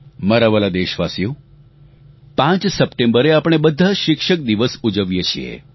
મારા વ્હાલા દેશવાસીઓ 5 સપ્ટેમ્બરે આપણે બધા શિક્ષક દિવસ ઉજવીએ છે